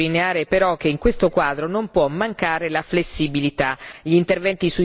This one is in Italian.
È importante sottolineare però che in questo quadro non può mancare la flessibilità.